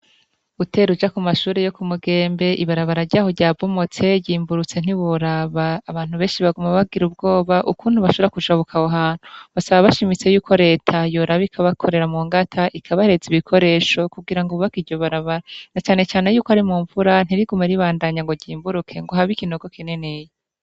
Utera uja ku mashure yo ku Mugembe ibarabara ryaho ryabomotse ryimburutse ntiworaba, abantu benshi baguma bagira ubwoba ukuntu bashobora kujabuka aho hantu, basaba bashimitse yuko reta yoraba ikabakorera mu ngata ikabahereza ibikoresho, kugira ngo bubake iryo barabara, na cane cane yuko ari mumvura ntirigume ribandanya ngo ryimburuke habe ikinogo kininiya.